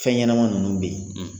Fɛnɲɛnɛma ninnu bɛ yen.